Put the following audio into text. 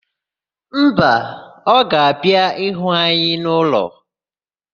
Mba, ọ ga-abịa ịhụ anyị n'ụlọ.